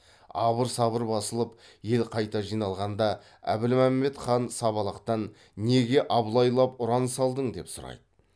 абыр сабыр басылып ел қайта жиналғанда әбілмәмбет хан сабалақтан неге абылайлап ұран салдың деп сұрайды